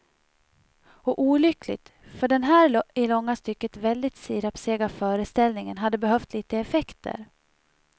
Och olyckligt, för den här i långa stycken väldigt sirapssega föreställningen hade behövt lite effekter.